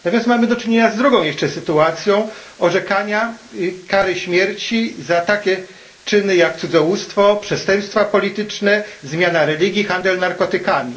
Teraz mamy do czynienia z drugą jeszcze sytuacją orzekania kary śmierci za takie czyny jak cudzołóstwo, przestępstwa polityczne, zmiana religii, handel narkotykami.